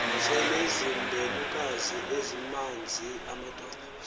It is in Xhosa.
selezimbelukazi ezimanz andonga